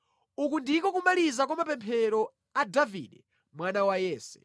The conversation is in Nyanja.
Uku ndiko kumaliza kwa mapemphero a Davide mwana wa Yese.